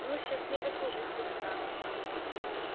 ну счастливо служить лейтенант